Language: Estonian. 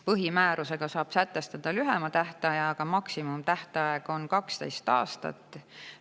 Põhimäärusega saab sätestada lühema tähtaja, aga maksimumtähtaeg on 12 aastat.